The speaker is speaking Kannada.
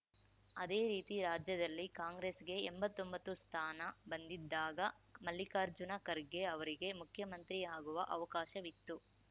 ಅದೇ ರೀತಿ ರಾಜ್ಯದಲ್ಲಿ ಕಾಂಗ್ರೆಸ್‌ಗೆ ಎಂಬತ್ತೊಂಬತ್ತು ಸ್ಥಾನ ಬಂದಿದ್ದಾಗ ಮಲ್ಲಿಕಾರ್ಜುನ ಖರ್ಗೆ ಅವರಿಗೆ ಮುಖ್ಯಮಂತ್ರಿ ಆಗುವ ಅವಕಾಶವಿತ್ತು